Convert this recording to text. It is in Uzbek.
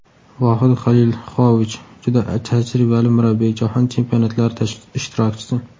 Vohid Xalilxojich juda tajribali murabbiy − Jahon chempionatlari ishtirokchisi.